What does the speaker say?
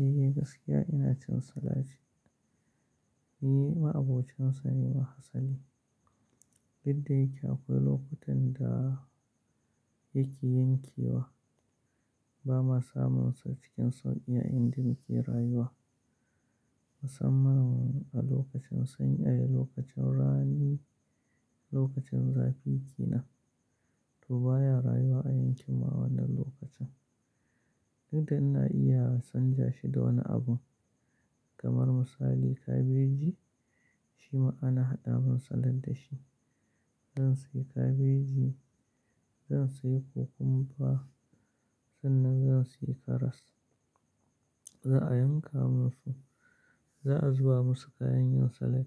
Eh gaskiya ina cin salad, ni ma abocinsa ne ma asali. Duk dayake akwai lokutan da yake yankewa, ba mu samunsa cikin sauƙi a inda nike rayuwa. Musamman a lokacin sanyi, a lokacin rani, lokacin zafi ke nan toh baya rayuwa a yankin mu wannan lokacin. Duk da ina iya sanja shi da wani abu kamar misali kabeji shima ana haɗa min salad da shi. Zan sayi kabeji, zan sayi kukumba sannan zan sayi karas. Za a yanka mun su, za a zuba musu kayan yin salad